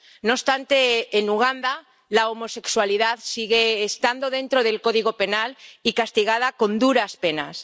No obstante, en Uganda, la homosexualidad sigue estando dentro del Código Penal y castigada con duras penas.